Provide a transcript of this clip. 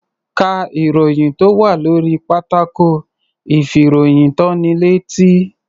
Ká ìròyìn tó wà lórí pátákó ìfìròyìntónilétí.